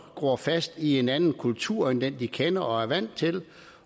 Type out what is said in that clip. gror fast i en anden kultur end den de kender og er vant til